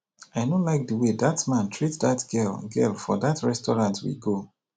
i no like the way dat man treat dat girl girl for dat restaurant we go